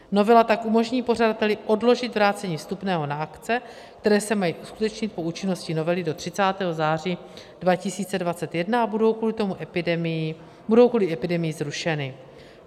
Novela tak umožní pořadateli odložit vrácení vstupného na akce, které se mají uskutečnit po účinnosti novely do 30. září 2021 a budou kvůli epidemii zrušeny.